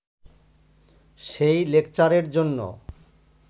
সেই লেকচারের জন্য